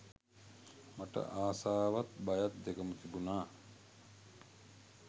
මට ආසාවත් බයක් දෙකම තිබුණා.